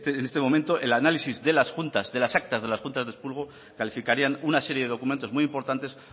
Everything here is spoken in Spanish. en este momento el análisis de las juntas de las actas de las juntas de expurgo calificarían una serie de documentos muy importantes